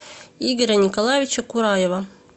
игоря николаевича кураева